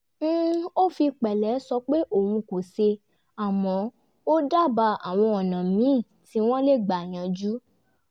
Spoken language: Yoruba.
ó fi pẹ̀lẹ́ sọ pé òun kò ṣe àmọ́ ó dábàá àwọn ọ̀nà míì tí wọ́n lè gbà yanjú